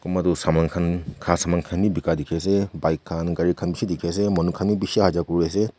Kunba tuh saman khan kha saman khan bega dekhey ase bike khan gari khan beshi dekhey ase manu khan bhi beshi aha jaa kuri ase.